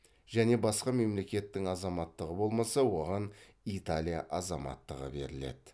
және басқа мемлекеттің азаматтығы болмаса оған италия азаматтығы беріледі